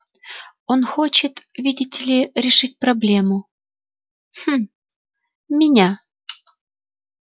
он хочет видите ли решить проблему хм меня